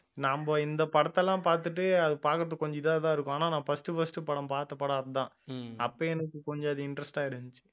நம்ம இந்த படத்தை எல்லாம் பார்த்துட்டு அது பார்க்கிறதுக்கு கொஞ்சம் இதாதான் இருக்கும் ஆனா நான் first first படம் பார்த்த படம் அதுதான் அப்ப எனக்கு கொஞ்சம் அது interest ஆ இருந்துச்சு